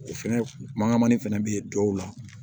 O fɛnɛ mangamani fɛnɛ bɛ ye dɔw la